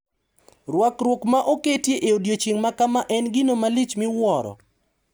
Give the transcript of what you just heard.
Rwakruok ma oketi e odiechieng` ma kama en gino malich miwuoro.